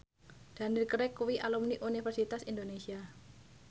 Daniel Craig kuwi alumni Universitas Indonesia